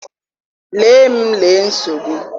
lee m lee nsogbu.